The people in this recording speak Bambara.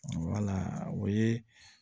o ye